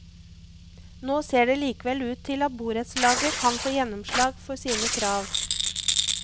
Nå ser det likevel ut til at borettslaget kan få gjennomslag for sine krav.